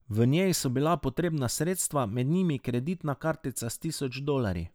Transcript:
V njej so bila potrebna sredstva, med njimi kreditna kartica s tisoč dolarji.